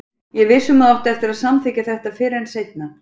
Ég er viss um að þú átt eftir að samþykkja þetta fyrr en seinna.